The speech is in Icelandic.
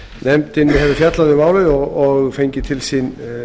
nefndin hefur fjallað um málið og fengið til sín